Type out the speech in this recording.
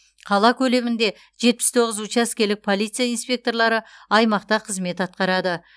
қала көлемінде жетпіс тоғыз учаскелік полиция инспекторлары аймақта қызмет атқарады